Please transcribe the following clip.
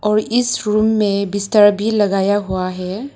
और इस रूम में बिस्तर भी लगाया हुआ है।